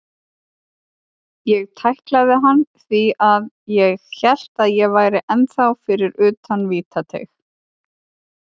Ég tæklaði hann því að ég hélt að ég væri ennþá fyrir utan vítateig.